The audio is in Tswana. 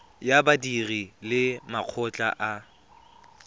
ya badiri le makgotla a